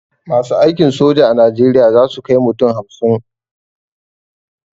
Masu aikin soja a najeriya zasu kai mutum hamsin